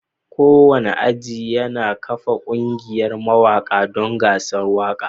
Kowane aji yana kafa ƙungiyar mawaƙa don gasar waƙa